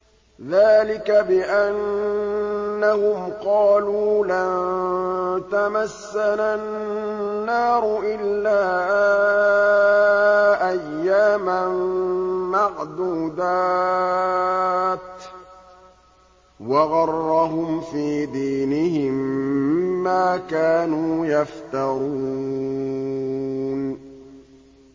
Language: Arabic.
ذَٰلِكَ بِأَنَّهُمْ قَالُوا لَن تَمَسَّنَا النَّارُ إِلَّا أَيَّامًا مَّعْدُودَاتٍ ۖ وَغَرَّهُمْ فِي دِينِهِم مَّا كَانُوا يَفْتَرُونَ